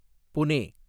Pune